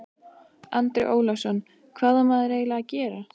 Andri Ólafsson: Hvað á maður eiginlega að gera?